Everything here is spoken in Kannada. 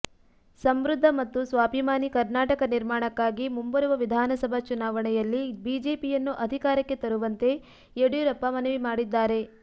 ಸಮೃದ್ಧ ಮತ್ತು ಸ್ವಾಭಿಮಾನಿ ಕರ್ನಾಟಕ ನಿರ್ಮಾಣಕ್ಕಾಗಿ ಮುಂಬರುವ ವಿಧಾನಸಭಾ ಚುನಾವಣೆಯಲ್ಲಿ ಬಿಜೆಪಿಯನ್ನು ಅಧಿಕಾರಕ್ಕೆ ತರುವಂತೆ ಯಡಿಯೂರಪ್ಪ ಮನವಿ ಮಾಡಿದ್ದಾರೆ